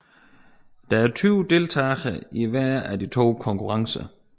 Der er 20 deltagere i hver af de to konkurrencer